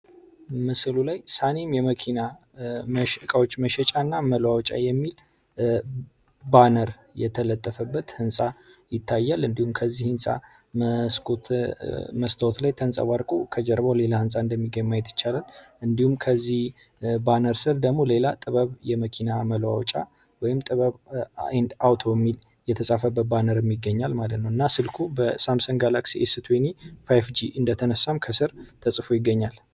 ምስሉ ላይ ሳኒም የመኪና እቃዎች መሸሻና መለዋወጫ የሚል ባነር የተለጠፈበት ሕንፃ ይታያል። እንዲሁም ከዚህ ሕንጻ መስኮት መስታወት ላይ ተንጸባርቆ ከጀርባው ሌላ ሕንፃ እንደሚገባ ማየት ይቻላል። እንዲሁም ከዚህ ባነር ደግሞ ሌላ ጥበብ የመኪና መለዋወጫ ወይም ጥበብ ኤንድ አውቶ የተጻፈበት ባነር ይገኛል ማለት ነው። ስልኩ በሳምሰንግ ጋላክሲ ኤስ 20 5ጂ እንደተነሳ ከስር ተጽፎ ይገኛል።